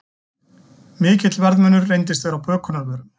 Mikill verðmunur reyndist vera á bökunarvörum